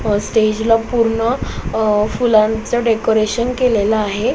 स्टेजला ला पूर्ण अ फुलांच डेकोरेशन केलेल आहे.